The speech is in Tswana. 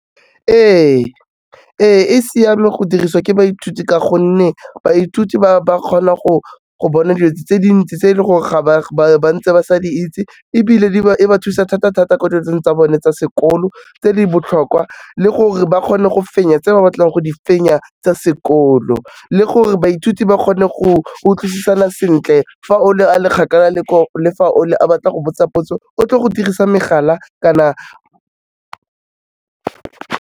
Ee, ee, e siame go dirisiwa ke baithuti ka gonne baithuti ba kgona go bona dilo tse dintsi tse e le gore ntse ba sa di itse, ebile e ba thusa thata-thata ko dilong tsa bone tsa sekolo, tse di botlhokwa le gore ba kgone go fenya tse ba batlang go di fenya tsa sekolo, le gore baithuti ba kgone go utlwisisana sentle fa o le a le kgakala le fa o le a batla go botsa potso, o tlo go dirisa megala kana.